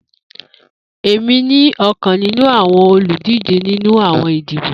Emi ni ọkan ninu awọn oludije ninu awọn idibo.